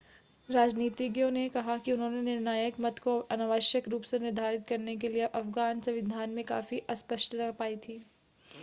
राजनीतिज्ञों ने कहा कि उन्होंने निर्णायक मत को अनावश्यक रूप से निर्धारित करने के लिए अफ़गान संविधान में काफी अस्पष्टता पाई थी